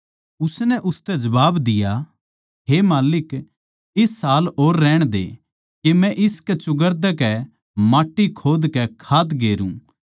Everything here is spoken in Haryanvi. उसनै उसतै जबाब दिया हे माल्लिक इस साल और रहण दे के मै इसकै चौगरदेकै माट्टी खोदकै खाद गेरू